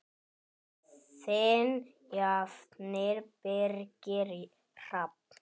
Þinn nafni, Birgir Hrafn.